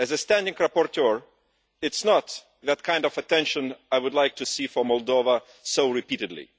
As a standing rapporteur, it is not the kind of attention I would like to see for Moldova so repeatedly.